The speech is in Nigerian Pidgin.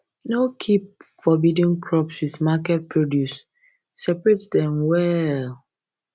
no keep forbidden crops with market produce separate dem well